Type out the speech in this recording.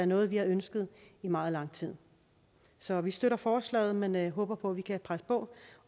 noget vi har ønsket i meget lang tid så vi støtter forslaget men håber på vi kan presse på